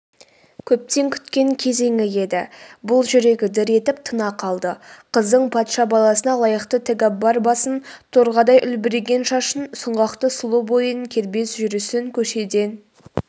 көптен күткен кезеңі еді бұл жүрегі дір етіп тына қалды қыздың патша баласына лайықты тәкәббар басын торқадай үлбіреген шашын сұңғақты сұлу бойын кербез жүрісін көшеден